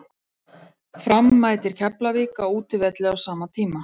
Fram mætir Keflavík á útivelli á sama tíma.